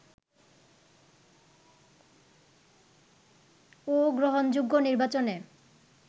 ও গ্রহণযোগ্য নির্বাচনে